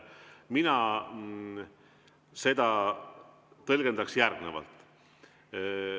Mina tõlgendan seda järgnevalt.